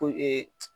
Ko